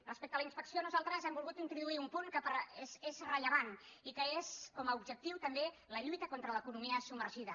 respecte a la inspecció nosaltres hem volgut introduir un punt que és rellevant i que té com a objectiu la lluita contra l’economia submergida